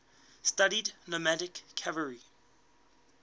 studied nomadic cavalry